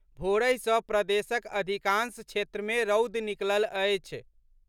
भोरहि सँ प्रदेशक अधिकांश क्षेत्र मे रौद निकलल अछि।